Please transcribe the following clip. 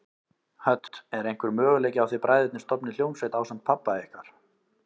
Hödd: Er einhver möguleiki á að þið bræðurnir stofnið hljómsveit ásamt pabba ykkar?